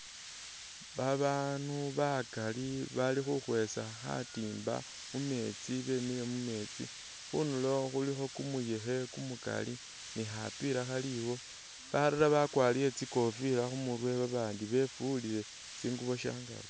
Babaandu bakaali bali khukhwesa khatiimba mumeetsi bemile mu meetsi, khundulo khulikho kumuyekhe kumukaali ni khapiila khaliwo, balala bakwarire tsikofila khu'murwe babandi befuliile tsinguubo syangaaki.